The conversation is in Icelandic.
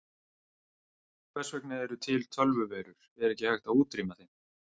Hvers vegna eru til tölvuveirur, er ekki hægt að útrýma þeim?